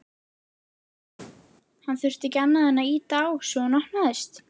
Hann þurfti ekki annað en ýta á svo hún opnaðist.